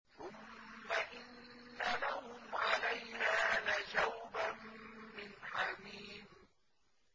ثُمَّ إِنَّ لَهُمْ عَلَيْهَا لَشَوْبًا مِّنْ حَمِيمٍ